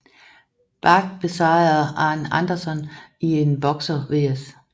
Badd besejrede Arn Anderson i en Boxer vs